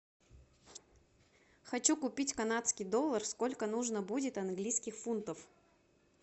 хочу купить канадский доллар сколько нужно будет английских фунтов